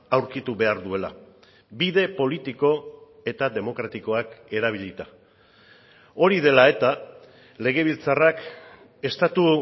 aurkitu behar duela bide politiko eta demokratikoak erabilita hori dela eta legebiltzarrak estatu